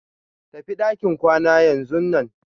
Tafi ɗakin kwana yanzunan.